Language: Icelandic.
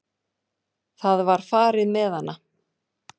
Það var farið með hana.